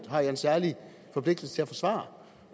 har en særlig forpligtelse til at forsvare